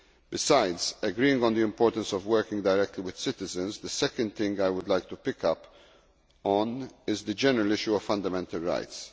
Besides agreeing on the importance of working directly with citizens, the second thing I would like to pick up on is the general issue of fundamental rights.